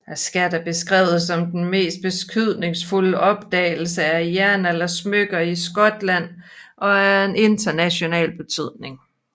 Skatten er beskrevet som den mest betydningsfulde opdagelse af jernaldersmykker i Skotland og er af international betydning